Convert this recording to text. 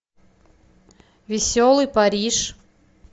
веселый париж